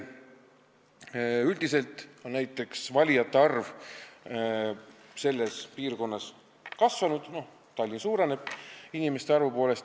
Üldiselt on valijate arv selles piirkonnas kasvanud, sest Tallinnas inimeste arv suureneb.